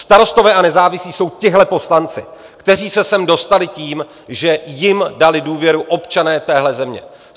Starostové a nezávislí jsou tihle poslanci, kteří se sem dostali tím, že jim dali důvěru občané téhle země.